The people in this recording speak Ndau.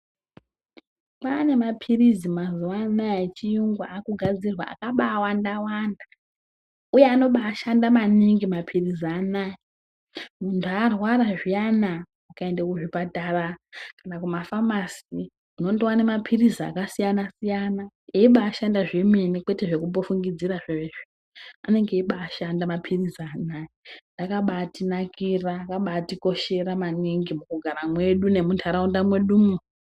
Kwaane mapilizi mazuwa anaya echiyungu akugadzirwa akaba awandawanda uye anoba ashanda maningi mapilizi anoaya, muntu arwara zviyani ukaende kuzvipatara kana kumafamasi unondowane mapilizi akasiyanasiyana eibashanda zvemene, kwete zvekumbofungidzira zviya anonga eibaashanda mapilizi ano aya akabaatinakira akaba atikoshera mukugara kwedu nemunharaunda mwedumwo.